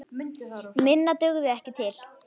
Minna dugði ekki til.